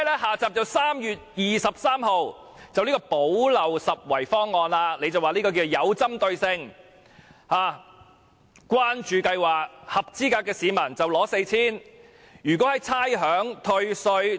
"下集"是3月23日的"補漏拾遺"方案，司長說方案是具針對性的關注計劃，合資格市民可獲派 4,000 元。